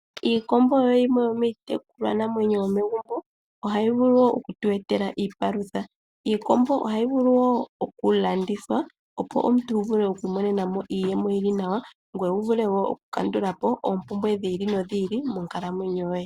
Iikombo oyo yimwe yo miitekulwa namwenyo yomegumbo nohayi vulu wo okutu etela iipalutha. Iikombo ohayi vulu wo oku landithwa, opo omuntu wu imonene mo iiyemo yili nawa ngoye vule wo oku kandula oompumbwe dhi ili nodhi ili monkalmwenyo yoye.